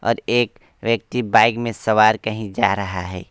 और एक व्यक्ति बाइक में सवार कही जा रहा है।